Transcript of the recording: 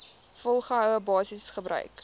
volgehoue basis gebruik